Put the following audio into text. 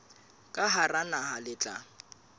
ka hara naha le tla